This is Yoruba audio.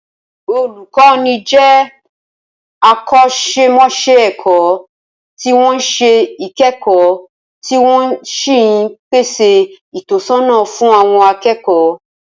Olùkọ́ni jẹ́ akọ́ṣẹ́mọṣẹ́ ẹ̀kọ́ tí wọ́n ń ṣe ìkẹ́kọ̀ọ́ tí wọ́n sì ń pèsè ìtọ́sọ́nà fún àwọn akẹ́kọ̀ọ